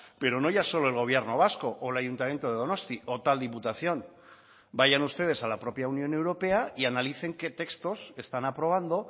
pero no ya solo el gobierno vasco o el ayuntamiento de donostia o tal diputación vayan ustedes a la propia unión europea y analicen que textos están aprobando